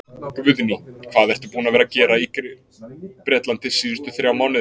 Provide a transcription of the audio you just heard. Guðný: Hvað ertu búinn að vera að gera í Bretlandi síðustu þrjá mánuði?